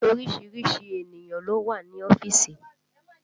Orísìírísìí ènìyàn ló wà ní ọ́fíìsì